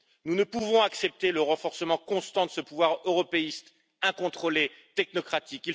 Nous ne pouvons accepter le renforcement constant de ce pouvoir européiste, incontrôlé, technocratique.